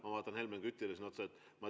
Ma vaatan siin Helmen Kütile otsa.